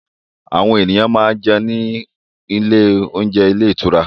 Àwọn ènìyàn máa ń jẹun ní ilé oúnjẹ ilé ìtura